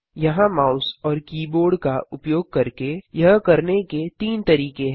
यहाँ माउस और कीबोर्ड का उपयोग करके यह करने के तीन तरीके हैं